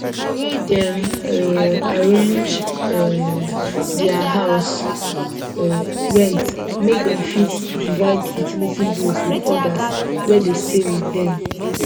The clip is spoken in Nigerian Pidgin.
the way dem um arrange um their house um rent make dem fit divide utility bills with others wey dey stay with dem